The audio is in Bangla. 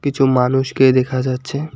কিছু মানুষকে দেখা যাচ্ছে।